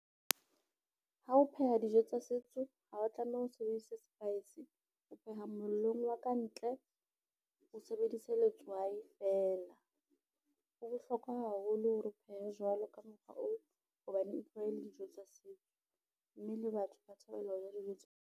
Ha o pheha dijo tsa setso, ha wa tlameha o sebedise spice o pheha mollong wa ka ntle, o sebedise letswai fela, ho bohlokwa haholo hore o phehe jwalo ka mokgwa oo hobane e tloha e le dijo tsa setso, mme le batho ba thabela ho ja dijo tse.